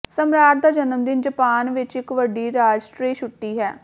ਸਮਰਾਟ ਦਾ ਜਨਮਦਿਨ ਜਪਾਨ ਵਿਚ ਇਕ ਵੱਡੀ ਰਾਸ਼ਟਰੀ ਛੁੱਟੀ ਹੈ